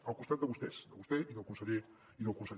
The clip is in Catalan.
al costat de vostès de vostè i del conseller elena